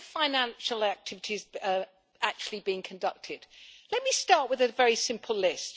What are the financial activities actually being conducted? Let me start with a very simple list.